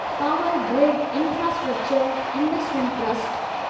power grid infrastructure investment trust